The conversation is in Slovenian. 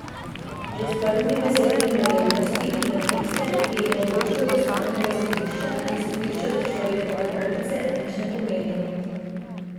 Že s prvimi besedami me je uvrstiti med tiste, ki jim odločbe ustavnega sodišča in sodišča za človekove pravice nič ne pomenijo.